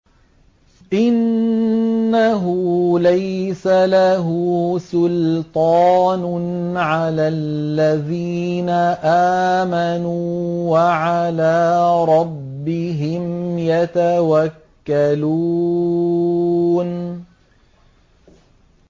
إِنَّهُ لَيْسَ لَهُ سُلْطَانٌ عَلَى الَّذِينَ آمَنُوا وَعَلَىٰ رَبِّهِمْ يَتَوَكَّلُونَ